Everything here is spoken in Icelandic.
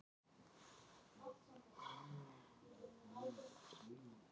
Jóhanna Margrét Gísladóttir: Og hvað á maður að gera á bleika daginn?